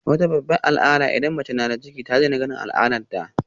Wata babbar alama idan mace tana da ciki shine ta daina ganin al'adarta